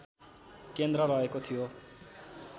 केन्द्र रहेको थियो